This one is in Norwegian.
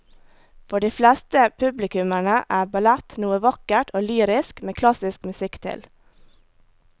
For de fleste publikummere er ballett noe vakkert og lyrisk med klassisk musikk til.